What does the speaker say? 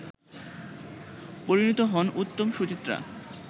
পরিণত হন উত্তম-সুচিত্রা